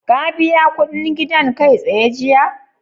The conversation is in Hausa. Ka biya kuɗin gidan kai-tsaye jiya?